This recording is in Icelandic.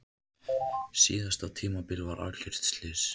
Síðasta tímabil var algjört slys.